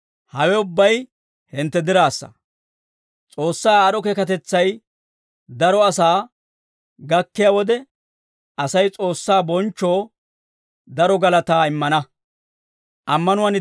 Hawe ubbay hintte diraassa; S'oossaa aad'd'o keekatetsay daro asaa gakkiyaa wode, Asay S'oossaa bonchchoo daro galataa immana.